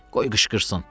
Qoy qışqırsın.